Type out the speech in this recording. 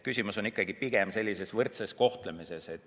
Küsimus on ikkagi pigem võrdses kohtlemises.